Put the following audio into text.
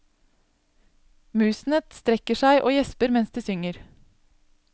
Musene strekker seg og gjesper mens de synger.